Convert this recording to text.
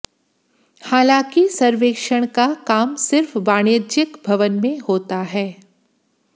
हालांकि सवेक्षण का काम सिर्फ वाणिज्यिक भवन में होता है